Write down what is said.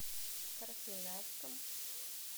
красноярском